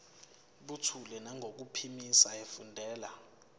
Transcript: buthule nangokuphimisa efundela